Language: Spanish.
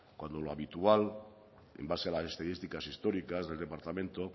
cuando lo habitual en base a las estadísticas históricas del departamento